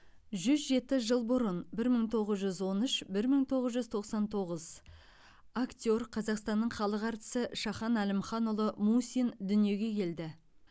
жүз жеті жыл бұрын бір мың тоғыз жүз он үш бір мың тоғыз жүз тоқсан тоғыз актер қазақстанның халық әртісі шахан әлімханұлы мусин дүниеге келді